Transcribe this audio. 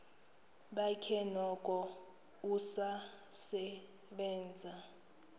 bakhe noko usasebenza